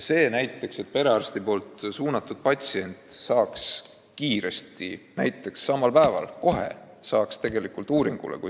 Oleks vaja, et perearsti saatekirjaga patsient saaks kiiresti, kui vähegi võimalik, siis samal päeval uuringule.